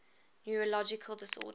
neurological disorders